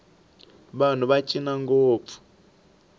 vanhu va cina ngopfu